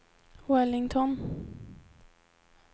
Wellington